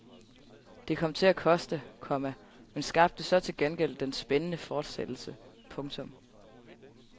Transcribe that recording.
Det kom til at koste, komma men skabte så til gengæld den spændende fortsættelse. punktum